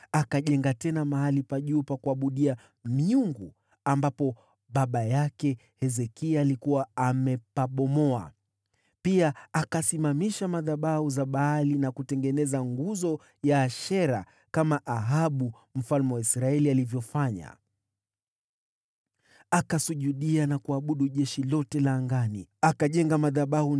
Akajenga upya mahali pa juu pa kuabudia miungu ambapo Hezekia baba yake alikuwa amepabomoa. Pia akasimamisha madhabahu za Baali na kutengeneza nguzo ya Ashera, kama Ahabu mfalme wa Israeli alivyofanya. Akalisujudia jeshi lote la angani na kuliabudu.